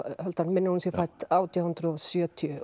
aldar mig minnir að hún sé fædd átján hundruð og sjötíu